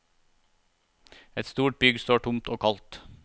Et stort bygg står tomt og kaldt.